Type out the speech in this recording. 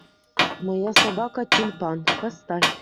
моя собака тюльпан поставь